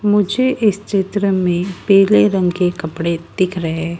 मुझे इस चित्र में पीले रंग के कपड़े दिख रहे--